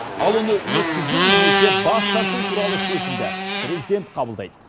ал оны өткізу немесе бас тарту туралы шешімді президент қабылдайды